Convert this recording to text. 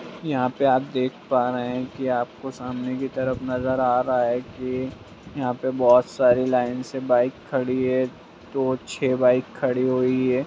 यहाँ पे आप देख पा रहें हैं की आपको सामने की तरफ नजर आ रहा है की यहाँ पे बहुत सारी लाइन से बाइक खड़ी है दो छे बाइक खड़ी हुई है।